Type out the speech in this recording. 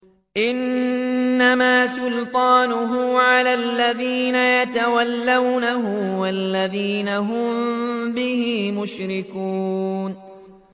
إِنَّمَا سُلْطَانُهُ عَلَى الَّذِينَ يَتَوَلَّوْنَهُ وَالَّذِينَ هُم بِهِ مُشْرِكُونَ